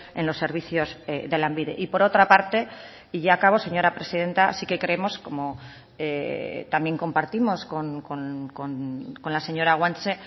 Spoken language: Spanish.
en los servicios de lanbide y por otra parte y ya acabo señora presidenta sí que creemos como también compartimos con la señora guanche